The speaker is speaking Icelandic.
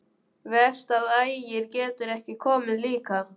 Verst að Ægir getur ekki komið líka.